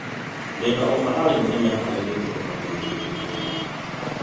Ndĩna ũma arimũ nĩ meharĩirie kũmũteithia inyuothe.